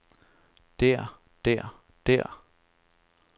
der der der